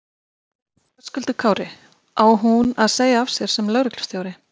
Höskuldur Kári: Á hún að segja af sér sem lögreglustjóri?